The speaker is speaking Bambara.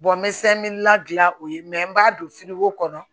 n bɛ la gilan o ye n b'a don kɔnɔ